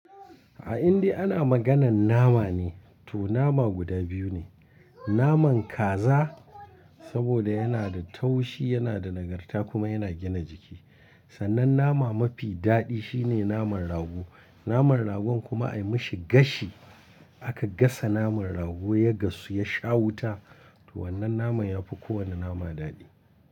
In dai ana maganan nama ne, to nama guda biyu ne. Naman kaza saboda yana da taushi, yana da nagarta kuma yana gina jiki. Sannan nama mafi daɗi shine naman rago. Naman ragon kuma ai mashi gashi. Aka gasa naman rago ya gasu ya sha wuta. To wannan naman ya fi kowane nama daɗi.